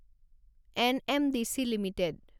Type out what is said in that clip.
NMDC limited